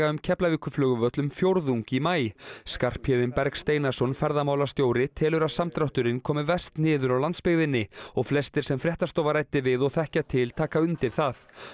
um Keflavíkurflugvöll um fjórðung í maí Skarphéðinn Berg Steinarsson ferðamálastjóri telur að samdrátturinn komi verst niður á landsbyggðinni og flestir sem fréttastofa ræddi við og þekkja til taka undir það